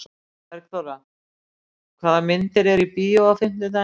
Bergþóra, hvaða myndir eru í bíó á fimmtudaginn?